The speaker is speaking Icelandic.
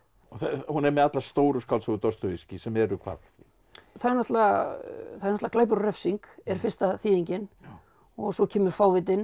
hún er með allar stóru skáldsögur Dostojevskí sem eru hvað það er glæpur og refsing er fyrsta þýðingin og svo kemur fávitinn